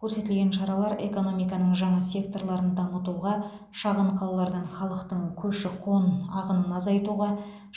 көрсетілген шаралар экономиканың жаңа секторларын дамытуға шағын қалалардан халықтың көші қон ағынын азайтуға